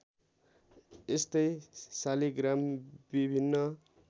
यस्तै शालिग्राम विभिन्न